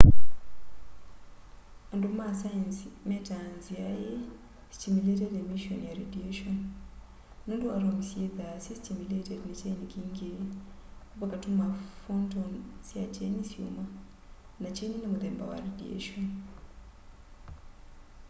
andu ma saenzi metaa nzia ii stimulated emission ya radiation” nundu atomu syithwaa syi stimulated ni kyeni kingí vakatuma photon sya kyeni syuma na kyeni ni muthemba wa radiation